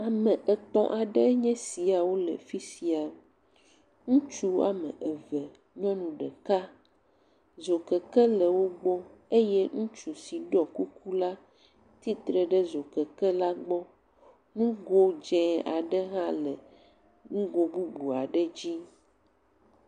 Ame etɔ̃ aɖe nye esiawo le fi sia. Ŋutsu wɔme eve, nyɔnu ɖeka. Dzokeke le wogbɔ eye ŋutsu si ɖɔ kuku la, tsitre ɖe zokeke la gbɔ. Nugo dzi aɖe hã le nugo bubu aɖe dzi.